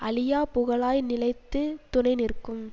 அழியாப் புகழாய் நிலைத்துத் துணை நிற்கும்